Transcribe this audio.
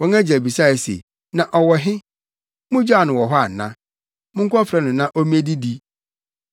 Wɔn agya bisae se, “Na ɔwɔ he? Mugyaw no wɔ hɔ ana? Monkɔfrɛ no na ommedidi.”